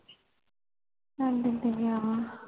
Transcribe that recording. ਤੁਹਾਡੇ ਤੇ ਗਯਾ ਵਾ